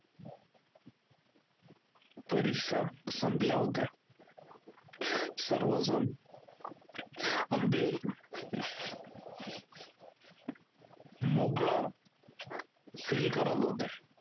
परीक्षा संपल्या होत्या सर्वजण अगदी मोकळ feel करत होते